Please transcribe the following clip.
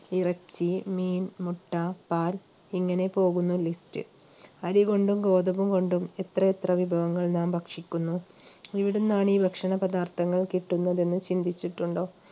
ഇറച്ചി മീൻ മുട്ട പാൽ ഇങ്ങനെ പോകുന്നു list അരികൊണ്ടും ഗോതമ്പു കൊണ്ടും എത്രയെത്ര വിഭവങ്ങൾ നാം ഭക്ഷിക്കുന്നു എവിടുന്നാണ് ഭക്ഷണപദാർത്ഥങ്ങൾ കിട്ടുന്നതെന്ന് ചിന്തിച്ചിട്ടുണ്ടോ?